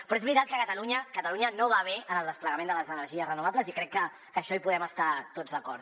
però és veritat que catalunya no va bé en el desplegament de les energies renovables i crec que en això hi podem estar tots d’acord